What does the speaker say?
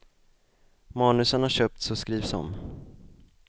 Manusen har köpts och skrivs om.